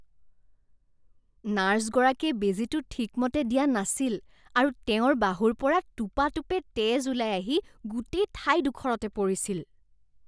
নাৰ্ছগৰাকীয়ে বেজীটো ঠিকমতে দিয়া নাছিল আৰু তেওঁৰ বাহুৰ পৰা টোপাটোপে তেজ ওলাই আহি গোটেই ঠাইডোখৰতে পৰিছিল।